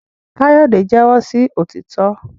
Kayode jẹwọ sí òtítọ